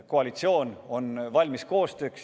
Koalitsioon on valmis koostööks.